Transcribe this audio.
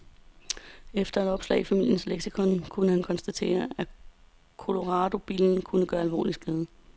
Efter et opslag i familiens leksikon kunne han konstatere, at coloradobillen kunne gøre alvorlig skade.